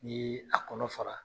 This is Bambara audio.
N'i ye a kɔnɔ fara